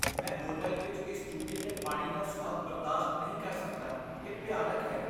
ਮੈਂ ਹੋਟਲ ਵਿੱਚ ਇਸ ਟੂਟੀ ਦੇ ਪਾਣੀ ਦਾ ਸੁਆਦ ਬਰਦਾਸ਼ਤ ਨਹੀਂ ਕਰ ਸਕਦਾ, ਇਹ ਭਿਆਨਕ ਹੈ।